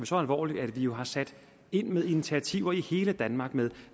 så alvorligt at vi jo har sat ind med initiativer i hele danmark med